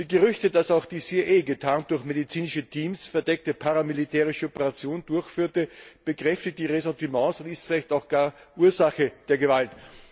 Die Gerüchte, dass auch die CIA, getarnt durch medizinische Teams, verdeckte paramilitärische Operationen durchführte, schüren die Ressentiments und sind vielleicht auch gar Ursache der Gewalt.